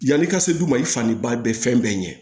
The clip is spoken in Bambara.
Yanni i ka se du ma i fani ba bɛ fɛn bɛɛ ɲɛ